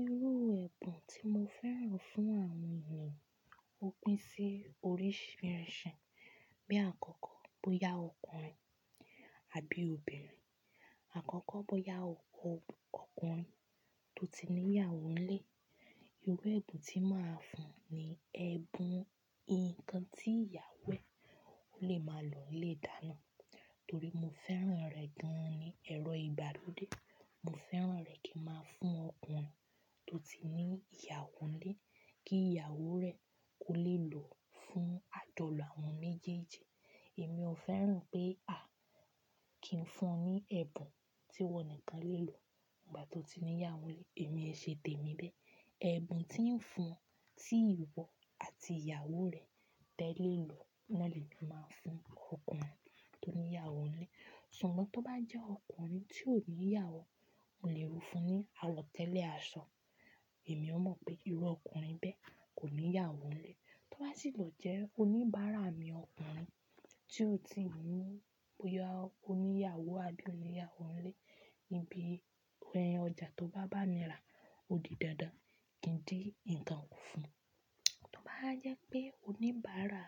Irú ẹ̀bùn tí mo fẹ́ran fún àwọn ènìyàn ó pín sí oríṣìíríṣìí. Bí àkọ́kọ́ bóyá ọkùnrin àbí obìnrin, àkọ́kọ́ bóyá oko ọkùnrin tó ti ní ìyàwó nílé, irú ẹ̀bùn tí màá fún un ni ẹ̀bùn nǹkan tí ìyàwó e lè máa lò nílé ìdáná. Torí mo fẹ́ran rẹ̀ gan-an ní ẹ̀rọ ìgbàlódé. Mo fẹ́ran rẹ̀ kí ń máa fún ọkùnrin tó ti ní ìyàwó nílé kí ìyàwó rẹ̀ ó lè lò fún àjolo àwọn méjèèjì. Èmi ò fẹ́ràn pé, "à, kí n fún ọ ní ẹ̀bùn tí wọ́n nìkan lè lò ìgbà tó ti ní ìyàwó nílé?" Èmi ẹ ṣe tèmi bẹ́ẹ̀. Ẹ̀bùn tí ń fún, tí ìwọ àti ìyàwó rẹ tẹ lè lò naa lè máa fún ọkùnrin tó ní ìyàwó nílé. Ṣùgbọ́n tó bá jẹ́ ọkùnrin tí ò ní ìyàwó, mo lè rú fun ní àwo tẹ́lẹ̀ aṣọ. Èmi ó mọ̀ pé irú ọkùnrin bẹ́ẹ̀ kò ní ìyàwó nílé. Tó bá sì lọ jẹ́ oníbàárà mi ọkùnrin tí ó ti ní boya o ìyàwó àbí oníyàwóńlé, ibi ọjà tó bá bámira òdi dandan kí n dín ǹkan kù fún un. Tó bá jẹ́ pé oníbàárà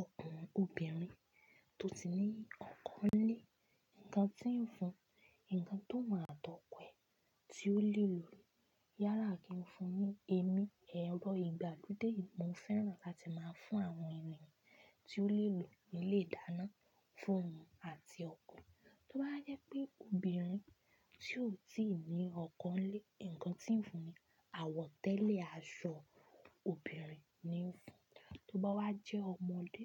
ọkùnrin/obìnrin tó ti ní ọkọ nílé, ǹkan tí ń fún un, ǹkan tó wù àtọ̀ke e tí ó lè lò ló yála kí ó fún ni Èmi ẹ̀rọ ìgbàlódé mo fẹ́ran kí a ti máa fún àwọn ènìyàn tí ó lè lò nílé ìdáná fún oun àti ọkọ e Tó bá jẹ́ pé obìnrin tí ò tí ì ní ọkọ nílé, ǹkan tí ń fún un, àwọ̀tẹ́lẹ̀ aṣọ obìnrin ni ń fún un. Tó bá wá jẹ́ ọmọdé,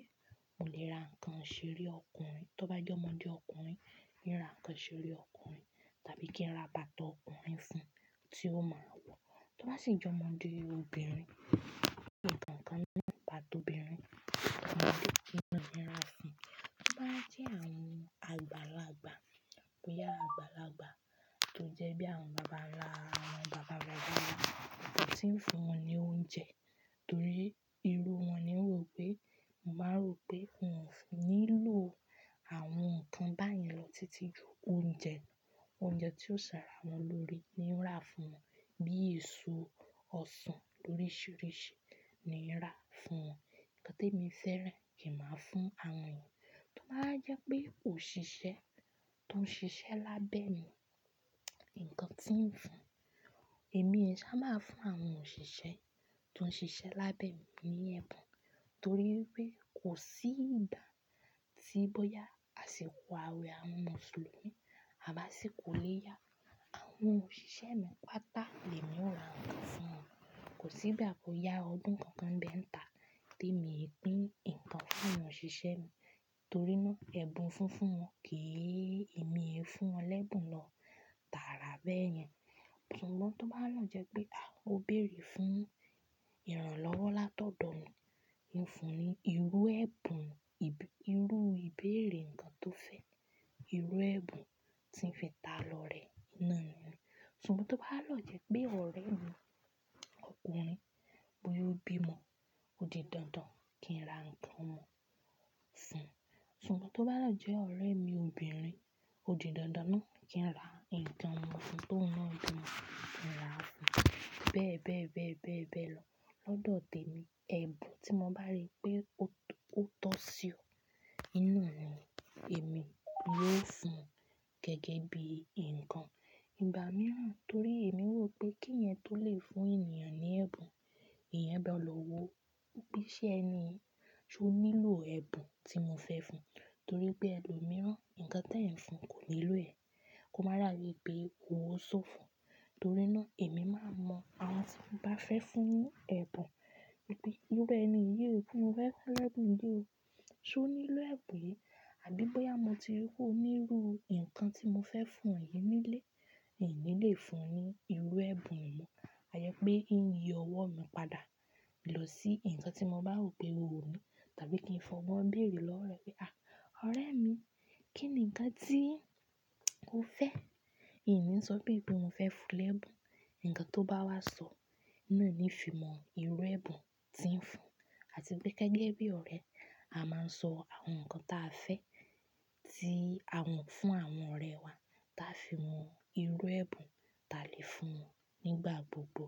mo lè ra ǹkan ìṣeré ọkùnrin. Tó bá jẹ́ ọmọdé ọkùnrin, ni ra ǹkan ìṣeré ọkùnrin tàbí kí n ra bàtà ọkùnrin fún un tí ó máa wọ̀. Tó bá sì jẹ́ ọmọdé obìnrin, ni ra ǹkan nípa tobìnrin, ọmọdé ni n rà fún un Tó bá jẹ́ àwọn àgbàlagbà, bóyá àgbàlagbà tó jẹ́ bí àwọn bàbá wa, àwọn bàbá bàbá wa tí ń fún wọn ní oúnjẹ torí irú wọn ni ń rò pé, màá rò pé wọn ò nílò àwọn ǹkan báyìí lọ títí ju oúnjẹ, oúnjẹ tí ó ṣàrà wọ́n lórí ni n rà fún wọn. Bíi èso ọsàn oríṣìíríṣìí ni n rà fún wọn. Ǹkan tí èmi fẹ́ràn kí màá fún àwọn ènìyàn. Tó bá jẹ́ pé òṣìṣẹ́ tó ń ṣiṣẹ́ lábẹ́ mi, ǹkan tí ń fún un, èmi ẹ ṣá máa fún àwọn òṣìṣẹ́ tó ń ṣiṣẹ́ lábẹ́ mi ní ẹ̀bùn torí pé kò sí ìgbà tí bóyá àsìkò ààwẹ̀ àwọn Mùsùlùmí àbá sì kò lè ya àwọn òṣìṣẹ́ mi, pàtà ni emi ò rà ǹkan fún wọn. Kò sí ìgbà tó ya ọdún kankan bẹ́ n ta tí èmi ó pin ǹkan fún àwọn òṣìṣẹ́ mi torí náà ẹ̀bùn funfun wọn kí í, èmi ẹ fún wọn lẹ́bùn lọ tààrà bẹ́ẹ̀ yẹn. Ṣùgbọ́n tó bá lọ jẹ́ pé, à, ó béèrè fún ìrànlọ́wọ́ látọ̀dọ̀ mi, n fún un ní irú ẹ̀bùn ibi, irú ìbéèrè ǹkan tó fẹ́, irú ẹ̀bùn tí ń fẹ́ ta lọ rẹ̀ náà ni. Ṣùgbọ́n tó bá lọ jẹ́ pé ọ̀rẹ́ mi ọkùnrin bóyá ó bí ọmọ, ó di dandan kí n ra ǹkan omọ fún un. Ṣùgbọ́n tó bá lọ jẹ́ ọ̀rẹ́ mi obìnrin, ó di dandan náà kí n ra ǹkan omo fún un. Tó ń náà bi n kí n rà fún un. Bẹ́ẹ̀ bẹ́ẹ̀ bẹ́ẹ̀ bẹ́ẹ̀ bẹ́ẹ̀ lọ. Lọ́dọ̀ tèmi, ẹ̀bùn tí mo bá rí pé ó tó sí o òun náà ni èmi yo fún un gẹ́gẹ́ bí ǹkan ìgbà mìíràn torí èmi rò pé kíyẹ́n tó lè fún ènìyàn ní ẹ̀bùn, ìyẹn gbọ́dọ̀ lọ wo bí iṣẹ́ ẹ ni, ṣe ó nílò ẹ̀bùn tí mo fẹ́ fún un? Torí pé ẹlòmíràn ǹkan tí ẹ̀ ń fún kò nílò ẹ̀. Kò mọ̀ da bi pé ówó ṣó fún un. Torí náà èmi máa n mọ àwọn tí mo bá fẹ́ fún ní ẹ̀bùn. Irú ẹni yi ó ti mo fe fún lẹ́bùn yi o Ṣé ó nílò ẹ̀bùn yìí? Àbí bóyá mo ti rí wò ó ní irú ǹkan tí mo fẹ́ fún ọ yìí nílé, n ni lè fún ọ ní irú ẹ̀bùn mọ. A je pé n yii ọwọ́ mi padà lọ sí ǹkan tí mo bá rò pé ó ni tàbí kí n fi ogbon bèrè lọ́wo re pé, "à, ọ̀rẹ́ mi, kí ni ǹkan tí ó fẹ́?" Ìní sọ bí pe mo fẹ́ fún lèbùn, ǹkan tó bá wá sọ náà ni n fi mọ irú ẹ̀bùn tí ń fún un. Àti pé gẹ́gẹ́ bí ọ̀rẹ́, a máa ń sọ àwọn ǹkan tí a fẹ́ ti àwọn fún àwọn ọ̀rẹ́ wa, táa fi mọ irú ẹ̀bùn ta lè fún wọn nígbà gbogbo.